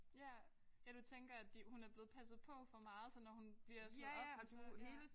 Ja. Ja du tænker at de hun er blevet passet på for meget så når hun bliver slået op så ja